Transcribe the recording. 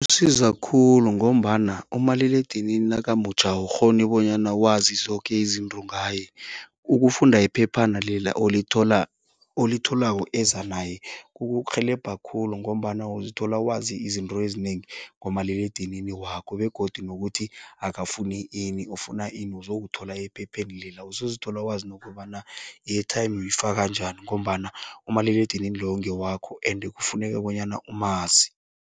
siza khulu ngombana umaliledinini nakamutjha awukghoni bonyana wazi zoke izinto ngaye. Ukufunda iphephana leli olithola, olitholako, eza naye kukurhelebha khulu ngombana uzithola wazi izinto ezinengi ngomaliledinini wakho begodu nokuthi akafuni ini ufuna ini uzokuthola ephepheni lela. Uzozithola wazi nokobana i-airtime uyifaka njani ngombana umaliledinini lowo ngewakho ende kufuneka bonyana umazi.